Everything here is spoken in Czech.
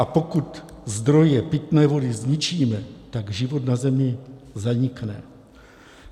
A pokud zdroje pitné vody zničíme, tak život na Zemi zanikne.